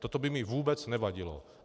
Toto by mi vůbec nevadilo.